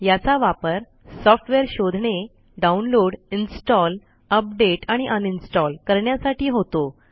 याचा वापर सॉफ्टवेअर शोधणे डाउनलोड इन्स्टॉल अपडेट आणि अनइन्स्टॉल करण्यासाठी होतो